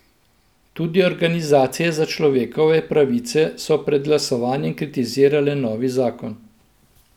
Tudi organizacije za človekove pravice so pred glasovanjem kritizirale novi zakon.